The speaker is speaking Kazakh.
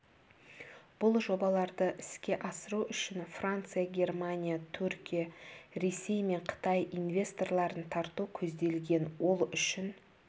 бұл жобаларды іске асыру үшін франция германия түркия ресей мен қытай инвесторларын тарту көзделген ол үшін